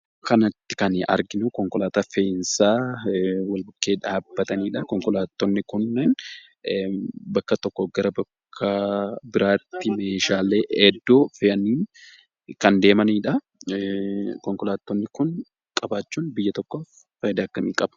Suuraa kanarratti kan nuyi arginu konkolaata fe'insaa wal-bukkee dhabbatanidha. Konkolaattonni kun bakka tokko gara bakka biratti meeshaa ergu kan deemanidha. Konkolaattonni kun qabaachuun biyyaa tokkof faayidaa akkamii qaba?